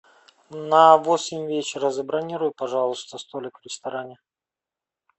на восемь вечера забронируй пожалуйста столик в ресторане